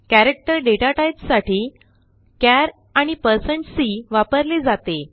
character डेटाटाईपसाठी चार आणि160c वापरले जाते